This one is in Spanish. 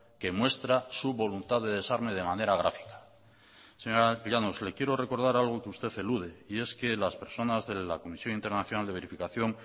que muestra su voluntad de desarme de manera gráfica señora llanos le quiero recordar algo que usted elude y es que las personas de la comisión internacional de verificación